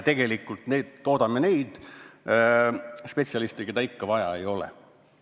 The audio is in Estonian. Tegelikult toodame edasi neid spetsialiste, keda vaja ei ole.